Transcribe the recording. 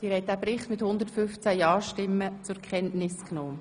Sie haben den Bericht zur Kenntnis genommen.